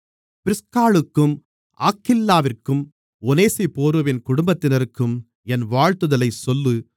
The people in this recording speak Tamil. பிரிஸ்காளுக்கும் ஆக்கில்லாவிற்கும் ஒநேசிப்போருவின் குடும்பத்தினருக்கும் என் வாழ்த்துதலைச் சொல்லு